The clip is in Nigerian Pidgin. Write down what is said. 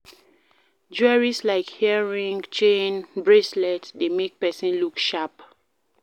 Jewelries like earring, chain, bracelets dey make person look sharp,